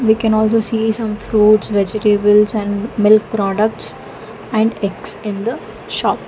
we can also see some fruits vegetables and milk products and eggs in the shop.